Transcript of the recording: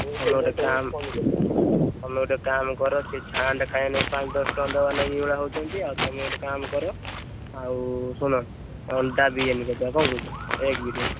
ନହେଲେ ଗୋଟେ କାମ ତମେ ଗୋଟେ କାମ କର ସେ ତ ଲାଗି ପାଞ୍ଚ ଦଶ ଟଙ୍କା ଦବା ଲାଗି ଏଇ ଭଳିଆ ହଉଛନ୍ତି, ଆଉ ତମେ ଗୋଟେ କାମ କର ଆଉ ଶୁଣ ଅଣ୍ଡା biriyani କରିଦବା ନା କଣ କହୁଛ? egg biryani ।